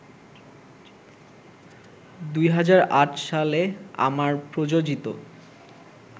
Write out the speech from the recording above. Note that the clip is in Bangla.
২০০৮ সালে আমার প্রযোজিত